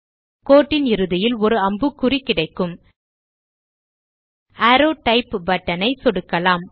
கோட்டின் இறுதியில் ஒரு அம்புக்குறி கிடைக்கும் அரோவ் டைப் பட்டன் ஐ சொடுக்கலாம்